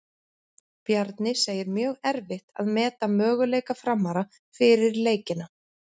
Bjarni segir mjög erfitt að meta möguleika Framara fyrir leikina.